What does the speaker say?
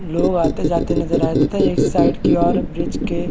लोग आते जाते नजर आ रहे है तथा इस साइड की और ब्रिज के--